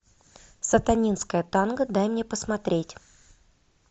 сатанинское танго дай мне посмотреть